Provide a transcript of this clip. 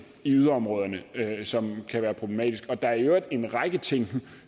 i yderområderne som kan være problematiske der er i øvrigt en række ting